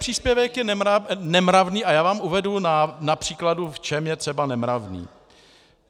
Příspěvek je nemravný a já vám uvedu na příkladu, v čem je třeba nemravný.